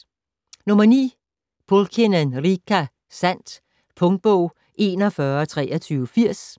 Pulkkinen, Riikka: Sandt Punktbog 412380